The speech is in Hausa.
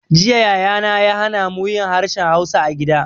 Jiya Yaya na ya hana mu yin harshen hausa a gida